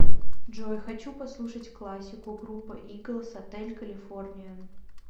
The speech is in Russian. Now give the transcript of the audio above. джой хочу послушать классику группа иглз отель калифорния